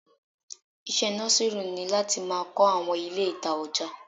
Ise Nasir ni lati ma kó awọn Ilé ita oja.